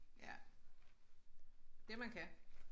Ja det man kan